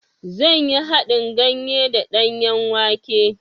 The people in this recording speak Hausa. Zan yi haɗin ganye da danyen wake.